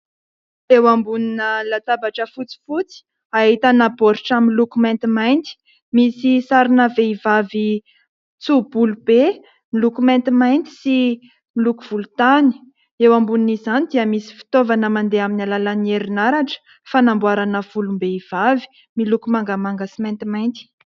Eo ambonina latabatra fotsifotsy ahitana baoritra miloko maintimainty, misy sarina vehivavy tso-bolo be miloko maintimainty sy miloko volontany. Eo ambonin'izany dia misy fitaovana mandeha amin'ny alalan'ny herinaratra, fanamboarana volom-behivavy miloko mangamanga sy maintimainty.